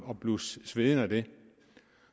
at blive svedig af det